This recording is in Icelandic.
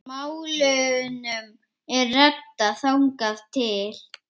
Málunum er reddað þangað til.